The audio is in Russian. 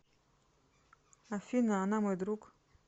афина она мой друг